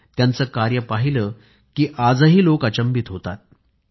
ज्यांचे कार्य पाहिले की आजही लोक अचंबित होतात